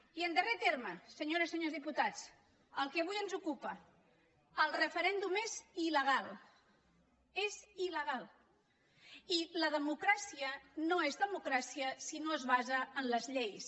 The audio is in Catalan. i en darrer terme senyores i senyors diputats el que avui ens ocupa el referèndum és ildemocràcia no és democràcia si no es basa en les lleis